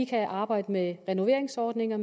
til at arbejde med renoveringsordninger